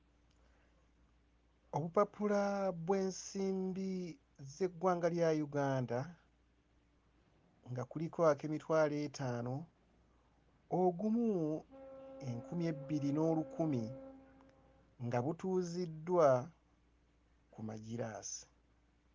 Obupapula bw'ensimbi z'eggwanga lya Uganda nga kuliko ak'emitwalo etaano, ogumu, enkumi ebbiri n'olukumi nga butuuziddwa ku magiraasi.